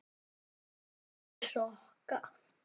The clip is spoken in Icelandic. Stelpur rokka!